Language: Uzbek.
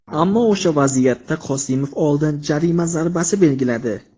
Ammo o‘sha vaziyatda Qosimov oldin jarima zarbasi belgiladi.